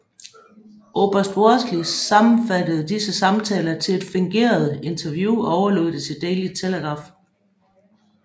Oberst Wortley sammenfattede disse samtaler til et fingeret interview og overlod det til Daily Telegraph